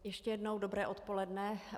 Ještě jednou dobré odpoledne.